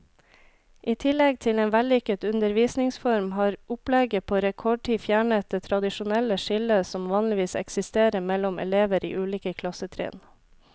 I tillegg til en vellykket undervisningsform, har opplegget på rekordtid fjernet det tradisjonelle skillet som vanligvis eksisterer mellom elever i ulike klassetrinn.